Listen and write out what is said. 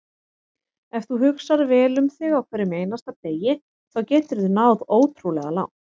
Ef þú hugsar vel um þig á hverjum einasta degi þá geturðu náð ótrúlega langt.